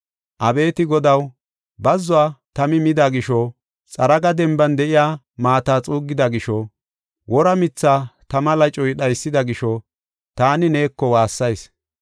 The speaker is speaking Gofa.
Abeeti Godaw, bazzuwa tami mida gisho, xaragi denban de7iya maata xuuggida gisho, wora mithaa tama lacoy dhaysida gisho, taani neeko waassayis.